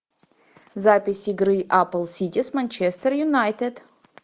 запись игры апл сити с манчестер юнайтед